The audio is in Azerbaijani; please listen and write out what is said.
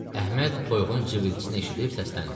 Əhməd toyuğun civiltisini eşidib səsləndi.